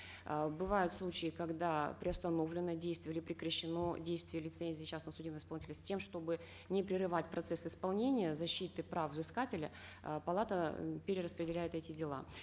э бывают случаи когда приостановлено действие или прекращено действие лицензии частных судебных исполнителей с тем чтобы не прерывать процесс исполнения защиты прав взыскателя э палата э перераспределяет эти дела